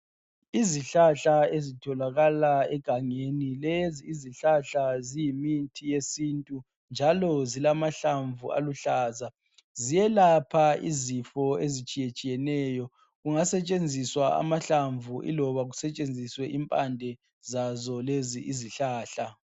Izihlahla ezitholakala egangeni. Lezi izihlahla ziyimithi yesintu njalo zilamahlamvu aluhlaza. Ziyelapha izifo ezitshiyetshiyeneyo. Kungasetshenziswa amahlamvu iloba kusetshenziswe impande zazo lezi izihlahla.